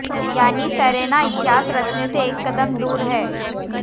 यानी सेरेना इतिहास रचने से एक कदम दूर हैं